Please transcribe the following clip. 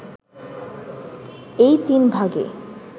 এই তিন ভাগে